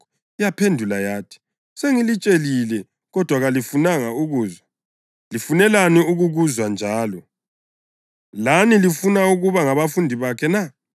Yaphendula yathi, “Sengilitshelile kodwa kalifunanga ukuzwa. Lifunelani ukukuzwa njalo? Lani lifuna ukuba ngabafundi bakhe na?”